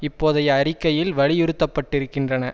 இப்போதைய அறிக்கையில் வலியுறுத்தப்பட்டிருக்கின்றன